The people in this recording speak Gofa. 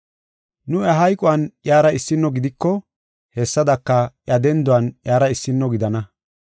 Nu iya hayquwan iyara issino gidiko, hessadaka, iya denduwan iyara issino gidana.